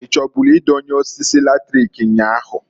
I chọbụlụ idonye osisi latrik nnyaa ahu?